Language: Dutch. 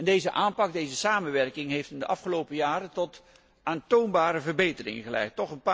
Deze aanpak, deze samenwerking heeft in de afgelopen jaren tot aantoonbare verbeteringen geleid.